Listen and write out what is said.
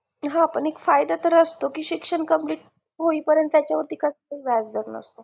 हा पण एक फायदा तरी असतो की शिक्षण complete होईपर्यंत त्याच्यावरती कसलेही व्याजदर नसते